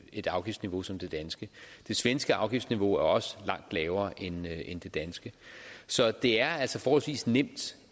et afgiftsniveau som det danske det svenske afgiftsniveau er også langt lavere end det danske så det er altså forholdsvis nemt